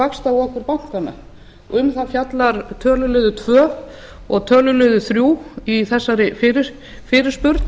vaxtaokur bankanna um það fjallar töluliður tvö og töluliður þrjú í þessari fyrirspurn